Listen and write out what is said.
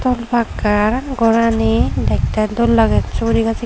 pakka gorani dekte dol lager suguri gas.